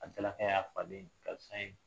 A tila y'a faden ye karisa in